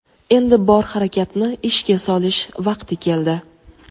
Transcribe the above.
endi bor harakatni ishga solish vaqti keldi.